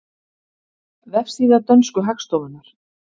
Vefsíða dönsku hagstofunnar